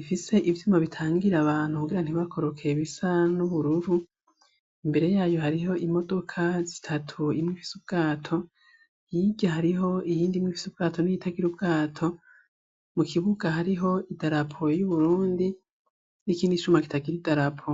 ifise ivyuma bitangira abantu kugira ntibakoroke bisa n'ubururu, imbere yayo hariho imodoka zitatu imwe ifise ubwato, hirya hariho iyindi ifise ubwato n'iyitagira ubwato, mu kibuka hariho idarapo y'Uburundi n'ikindi cuma kitagira idarapo.